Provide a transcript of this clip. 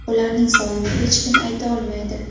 Ularning sonini hech kim ayta olmaydi.